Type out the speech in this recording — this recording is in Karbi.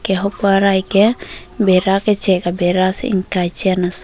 enke hapu arai ke bera ke chek abera ingkai chen ason.